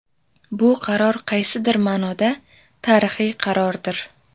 Bu qaror qaysidir ma’noda tarixiy qarordir.